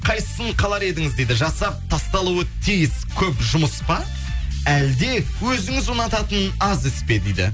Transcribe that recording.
қайсысын қалар едіңіз дейді жасап тасталуы тиіс көп жұмыс па әлде өзіңіз ұнататын аз іс пе дейді